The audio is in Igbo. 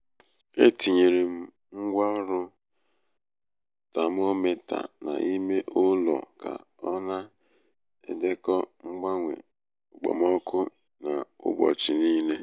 e tinyere m ngwaọrụ tamometa n'ime ụlọ ka ọ na-edekọ mgbanwe okpomọkụ n'ụbọchị niile.